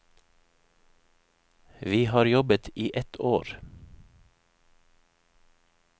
Vi har jobbet i ett år.